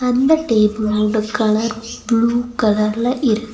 அந்த டேபிளோட colour blue கலர்ல இரு--